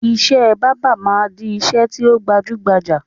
Ìṣe báábà máa di ìṣe tí ó gbajúgbajà